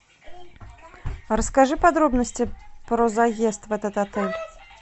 расскажи подробности про заезд в этот отель